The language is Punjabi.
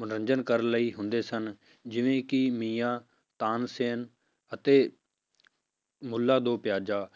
ਮਨੋਰੰਜਨ ਕਰਨ ਲਈ ਹੁੰਦੇ ਸਨ, ਜਿਵੇਂ ਕਿ ਮੀਆਂ, ਤਾਨਸੇਨ ਅਤੇ ਮੁੱਲਾ ਦੋ ਪਿਆਜ਼ਾ